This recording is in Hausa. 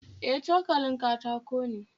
E, cokalin katako ne